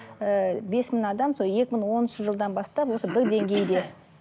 ііі бес мың адам сол екі мың оныншы жылдан бастап осы бір деңгейде